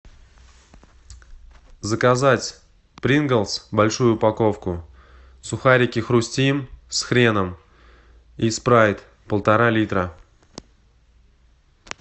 заказать принглс большую упаковку сухарики хрустим с хреном и спрайт полтора литра